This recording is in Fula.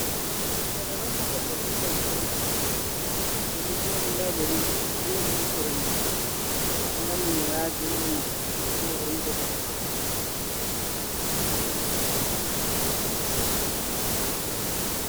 Do beɗo wanna goɗɗo intarviw on, oɗo jodi ɗa himbe hasere mako do wanni mo wayaji ha hunɗuko mako beɗo waɗa intarviw mako.